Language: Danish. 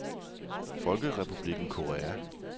Folkerepublikken Korea